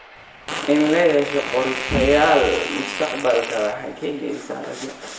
In la yeesho qorshayaal mustaqbalka waxay keenaysaa rajo.